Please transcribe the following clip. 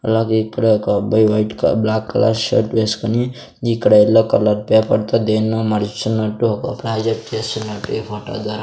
అలాగే ఇక్కడ ఒక అబ్బాయి వైట్ క బ్లాక్ కలర్ షర్ట్ వేస్కొని ఇక్కడ యెల్లో కలర్ పేపర్ తో దేన్నో మడుచుచున్నట్టు ఒక ప్రాజెక్ట్ చేస్తున్నట్టు ఈ ఫోటో ద్వారా --